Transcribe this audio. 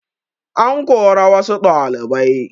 An kora wassu ɗalibai